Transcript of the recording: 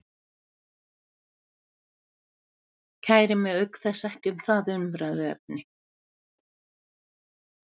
Kæri mig auk þess ekki um það umræðuefni.